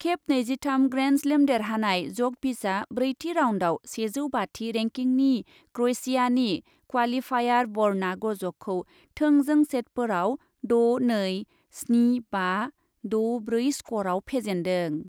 खेब नैजिथाम ग्रेन्डस्लेम देरहानाय जकभिचआ ब्रैथि राउन्डआव सेजौ बाथि रेंकिंनि क्रएसियानि क्वालिफायार बर्ना गज'खौ थोंजों सेटफोराव द' नै, स्नि बा, द' ब्रै स्करआव फेजेन्दों।